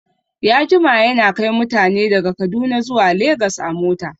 Ya jima yana kai mutane daga kaduna zuwa legas a mota